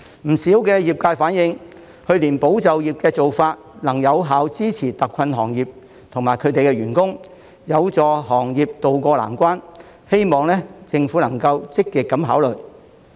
不少業界反映，去年保就業的做法，能有效支持特困行業及其員工，有助行業渡過難關，希望政府積極考慮。